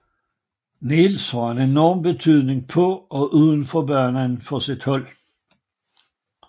Niels har en enorm betydning på og uden for banen for sit hold